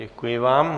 Děkuji vám.